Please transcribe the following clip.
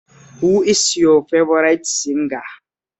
Who is your favourite singer?